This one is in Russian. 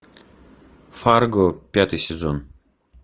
фарго пятый сезон